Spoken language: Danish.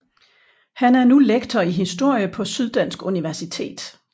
Han er nu lektor i historie på Syddansk Universitet